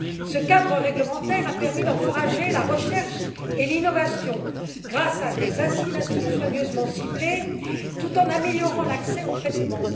Ce cadre réglementaire a permis d'encourager la recherche et l'innovation, grâce à des incitations soigneusement ciblées, tout en améliorant l'accès aux traitements.